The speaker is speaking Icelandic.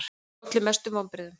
Hver olli mestum vonbrigðum?